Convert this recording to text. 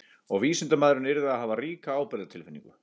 Og vísindamaðurinn yrði að hafa ríka ábyrgðartilfinningu.